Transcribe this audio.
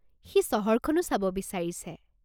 সি চহৰখনো চাব বিচাৰিছে।